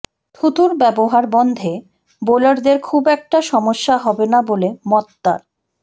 থুতুর ব্যবহার বন্ধে বোলারদের খুব একটা সমস্যা হবে না বলে মত তার